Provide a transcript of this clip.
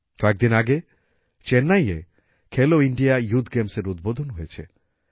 কয়েকদিন আগে চেন্নাইয়ে খেলো ইন্ডিয়া ইউথ গেমসএর উদ্বোধন হয়েছে